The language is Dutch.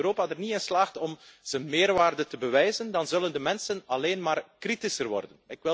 Als Europa er niet in slaagt om zijn meerwaarde te bewijzen, dan zullen de mensen alleen maar kritischer worden.